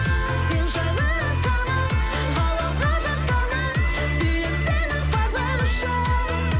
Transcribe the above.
сен жайлы ән салып ғаламға жар салып сүйем сені барлығы үшін